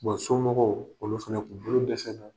somɔgɔw olu fɛnɛ kun bolo dɛsɛla